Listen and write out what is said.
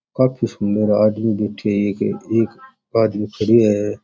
काफी सुन्दर आदमी बैठयो है एक एक आदमी खड़यो है।